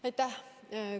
Aitäh!